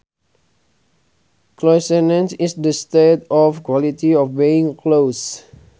Closeness is the state or quality of being close